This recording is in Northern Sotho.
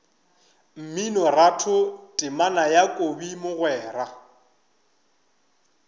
mminoratho temana ya kobi mogwera